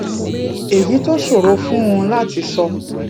èyí tó ṣòro fún un láti sọ